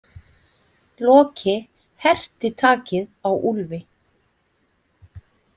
Loki herti takið á Úlfi.